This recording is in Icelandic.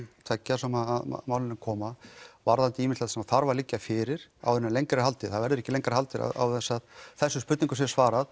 tveggja sem að málinu koma varðandi ýmislegt sem þarf að liggja fyrir áður en lengra er haldið það verður ekki lengra haldið án þess að þessum spurningum sé svarað